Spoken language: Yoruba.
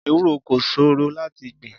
Ewúro kò ṣòro láti gbìn.